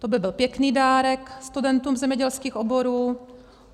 To by byl pěkný dárek studentům zemědělských oborů.